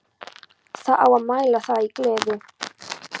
Það á að mæla það í gleði.